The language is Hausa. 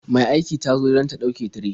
Mai aiki ta zo don ta ɗauke tire.